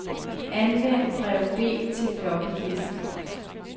Anvend drev B til floppydisk.